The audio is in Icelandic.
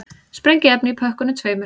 Sprengiefni í pökkunum tveimur